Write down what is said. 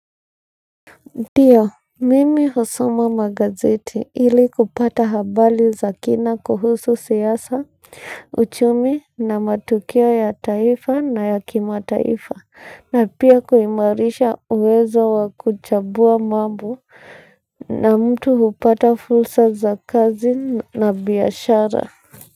Tio, mimi husoma magazeti ili kupata habali za kina kuhusu siasa, uchumi na matukio ya taifa na ya kimataifa na pia kuimarisha uwezo wa kuchabua mambo na mtu hupata fulsa za kazi na biashara.